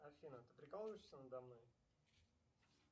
афина ты прикалываешься надо мной